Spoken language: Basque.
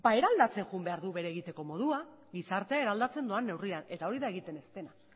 eraldatzen joan behar du bere egiteko modua gizartea eraldatzen doan neurrian eta hori da egiten ez dena